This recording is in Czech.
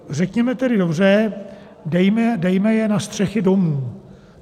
Řekněme tedy dobře, dejme je na střechy domů.